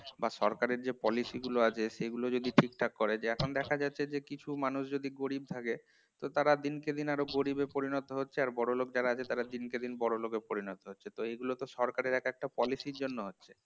বা সরকারি যে policy গুলো আছে সেগুলি যদি ঠিকঠাক করে এখন দেখা যাচ্ছে যে কিছু মানুষ যদি গরিব থাকে তো তারা দিন কে দিন আরো গরিবে পরিণত হচ্ছে আর বড়লোক যারা আছে তারা দিনকে দিন বড়লোকে পরিণত হচ্ছে তো এগুলো তো সরকারের এক একটা policy জন্য হয়